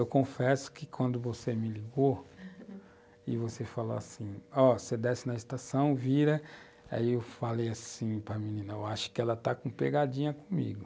Eu confesso que quando você me ligou e você falou assim, ó, você desce na estação, vira, aí eu falei assim para a menina, eu acho que ela está com pegadinha comigo.